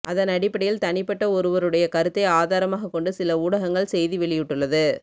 இதன் அடிப்படையில் தனிப்பட்ட ஒருவருடைய கருத்தை ஆதாரமாக கொண்டு சில ஊடகங்கள் செய்தி வெளியிட்டுள்ளது